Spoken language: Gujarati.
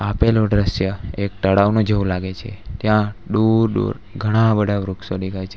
આપેલું દ્રશ્ય એક તળાવના જેવું લાગે છે ત્યાં દૂર દૂર ઘણા બધા વૃક્ષો દેખાય છે.